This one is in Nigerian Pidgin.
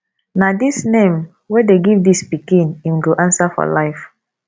na dis name wey dey give dis pikin im go answer for life